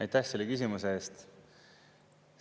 Aitäh selle küsimuse eest!